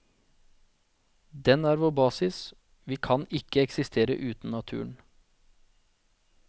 Den er vår basis, vi kan ikke eksistere uten naturen.